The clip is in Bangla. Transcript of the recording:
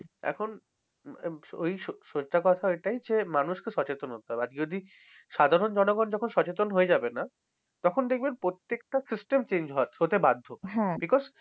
এখন আহ ঐ সত্য কথা ওটাই যে, মানুষকে সচেতন হতে হবে। আর যদি সাধারণ জনগণ যখন সচেতন হয়ে যাবে না? তখন দেখবেন প্রত্যেকটা system change হচ্ছে-হতে বাধ্য becuse